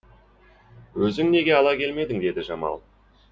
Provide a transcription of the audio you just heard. өзің неге ала келмедің деді жамал